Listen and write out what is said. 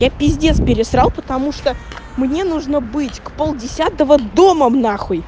я пиздец пересрал потому что мне нужно быть к пол десятого дома нахуй